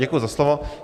Děkuji za slovo.